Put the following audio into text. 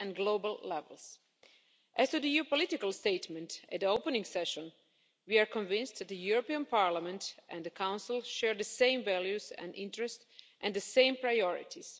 and global levels. As to the EU's political statement at the opening session, we are convinced that the European Parliament and the Council share the same values and interests and the same priorities.